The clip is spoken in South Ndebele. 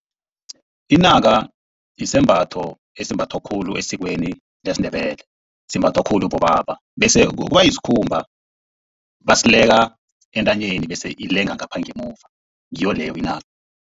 Inaka sisembatho esimbathwa khulu esikweni lesiNdebele. Simbathwa khulu bobaba. Bese kuba sikhumba baseleka entanyeni. Bese ilanga ngapha ngemuva, ngiyo leyo inaka.